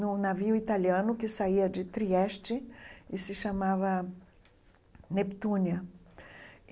Num navio italiano que saía de Trieste e se chamava Neptúnia.